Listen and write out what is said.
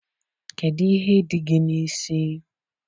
Kedụ ihe dị gị n'isi?